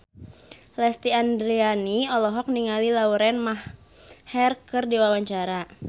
Lesti Andryani olohok ningali Lauren Maher keur diwawancara